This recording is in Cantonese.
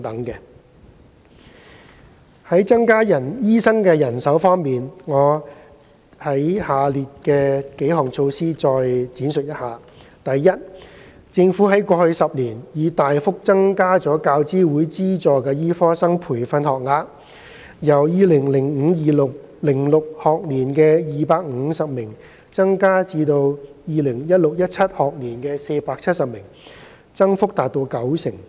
三在增加醫生人手方面，我會就下列措施作出闡述：第一，政府在過去10年已大幅增加教資會資助的醫科生培訓學額，由 2005-2006 學年的250名增至 2016-2017 學年的470名，增幅達九成。